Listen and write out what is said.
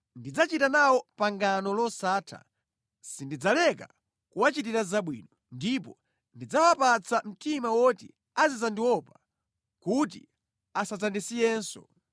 Ndidzachita nawo pangano losatha: sindidzaleka kuwachitira zabwino, ndipo ndidzawapatsa mtima woti azidzandiopa, kuti asadzandisiyenso.